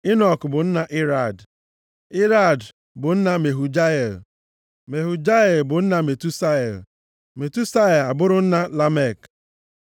Enọk bụ nna Irad, Irad bụ nna Mehujael, Mehujael bụ nna Metusael, Metusael abụrụ nna Lamek.